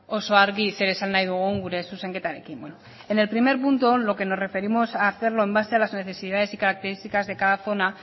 oso argi zer esan nahi dugun gure zuzenketarekin en el primer punto en lo que nos referimos a hacerlo en base a las necesidades y características de cada zona